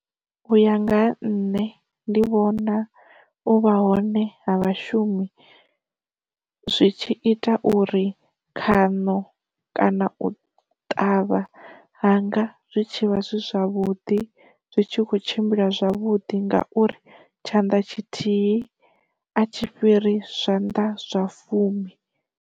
U ya nga ha nṋe ndi vhona u vha hone ha vhashumi zwi tshi ita uri khano kana u ṱavha hanga zwi tshivha zwi zwavhuḓi zwi tshi kho tshimbila zwavhudi ngauri tshanḓa tshithihi a tshi fhiri zwanḓa zwa fumi.